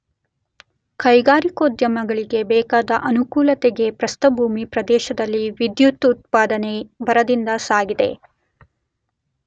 ಕೈಗಾರಿಕೋದ್ಯಮಗಳಿಗೆ ಬೇಕಾದ ಅನುಕೂಲತೆಗೆ ಪ್ರಸ್ಥಭೂಮಿ ಪ್ರದೇಶದಲ್ಲಿ ವಿದ್ಯದುತ್ಪಾದನೆ ಭರದಿಂದ ಸಾಗಿದೆ.